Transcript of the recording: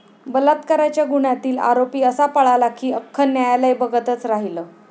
बलात्काराच्या गुन्ह्यातील आरोपी असा पळाला की अख्खं न्यायालय बघतच राहिलं!